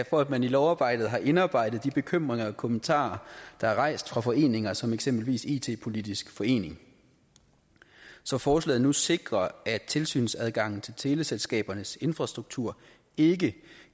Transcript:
for at man i lovarbejdet har indarbejdet de bekymringer og kommentarer der er rejst af foreninger som eksempelvis it politisk forening så forslaget nu sikrer at tilsynsadgangen til teleselskabernes infrastruktur ikke